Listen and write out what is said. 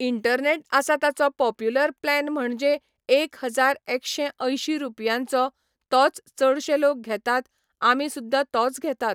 Internet आसा ताचो popular plan म्हणजें एक हजार एकशें अयंशी रुपयांचो तोच चडशे लोक घेतात आमी सुद्दा तोच घेतात.